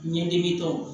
Ɲɛdimi tɔw